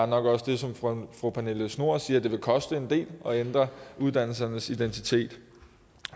nok også ligesom fru pernille schnoor siger koste en del at ændre uddannelsernes identitet